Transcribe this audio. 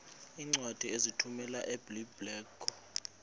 iincwadi ozithumela ebiblecor